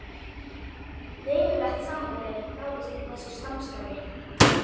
Verulegt samræmi náðist með þessu samstarfi.